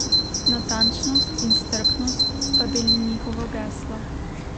Natančnost in strpnost sta bili njihovo geslo.